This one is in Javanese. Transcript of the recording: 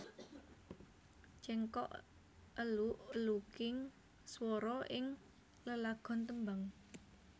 Cengkok eluk eluking swara ing lelagon tembang